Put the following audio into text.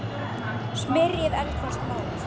Smyrjið eldfast mót.